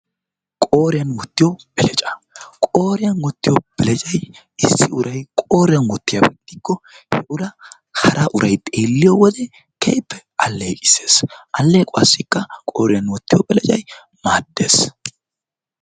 Qooriyan wottiyo beleccaa Qooriyan wotiyo beleccay issi uray qooriyan wottiyaba gidikko puulaa hara uray xeeliyode keehippe aleeqissees aleequwassikka qooriyan wottiyo beleccay maaddees.